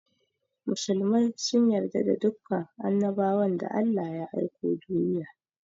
Musulmai sun yarda da dukan annabawan da Allah ya aiko duniya.